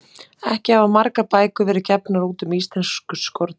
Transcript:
Ekki hafa margar bækur verið gefnar út um íslensk skordýr.